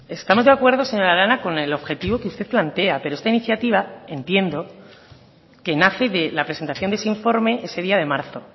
estamos de acuerdo señora arana con el objetivo que usted plantea pero esta iniciativa entiendo que nace de la presentación de ese informe ese día de marzo